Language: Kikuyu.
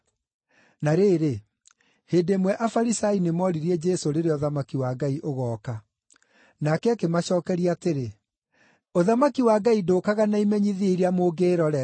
Na rĩrĩ, hĩndĩ ĩmwe Afarisai nĩmoririe Jesũ rĩrĩa ũthamaki wa Ngai ũgooka. Nake akĩmacookeria atĩrĩ, “Ũthamaki wa Ngai ndũũkaga na imenyithia iria mũngĩĩrorera,